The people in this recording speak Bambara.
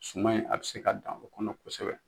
Suman in a be se ka dan o kɔnɔ kosɛbɛ